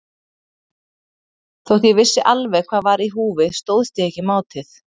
Þótt ég vissi alveg hvað var í húfi stóðst ég ekki mátið.